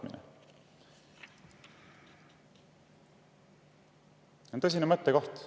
See on tõsine mõttekoht.